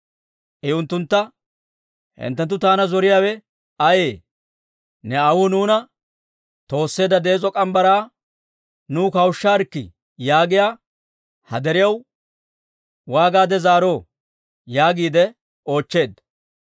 I unttuntta, «Hinttenttu taana zoriyaawe ayee? ‹Ne aawuu nuuna toosseedda dees'o morgge mitsaa nuw kawushisaarkkii› yaagiyaa ha deriyaw waagaade zaaroo?» yaagiide oochcheedda.